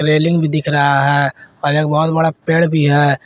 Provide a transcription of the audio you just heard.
Railing भी दिख रहा है और एक बहुत बड़ा पेड़ भी है।